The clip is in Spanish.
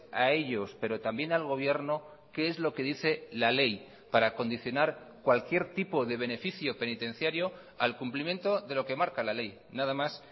a ellos pero también al gobierno qué es lo que dice la ley para condicionar cualquier tipo de beneficio penitenciario al cumplimiento de lo que marca la ley nada más